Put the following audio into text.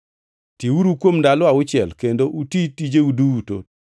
Tiuru kuom ndalo auchiel kendo uti tijeu duto,